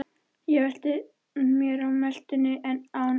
Ég velti mér á meltuna en án árangurs.